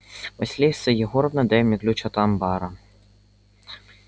василиса егоровна дай мне ключ от анбара